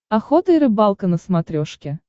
охота и рыбалка на смотрешке